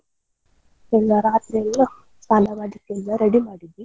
ಎಲ್ಲ ರಾತ್ರಿಯೆಲ್ಲಾ ಸ್ನಾನ ಮಾಡ್ಲಿಕ್ಕೆಲ್ಲ ready ಮಾಡಿದ್ವಿ.